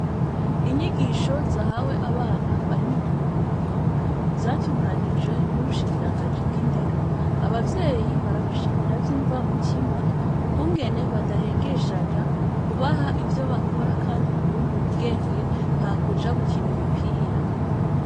Inyigisho zahawe abana bari mu buruhuko, zatunganijwe n' ushikiranganji bw' indero, abavyeyi barabashimira vy' imvamutima, ukungene badahengeshanya kubaha ivyo bakora kandi bibungura ubwenge, hakuja gukina imipira.